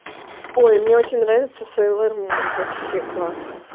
ой мне очень нравится сэйлор мун вообще класс